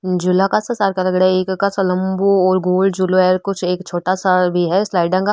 लम्बो और गोल झूलो है कुछ एक छोटा सा भी है स्लाइडा का।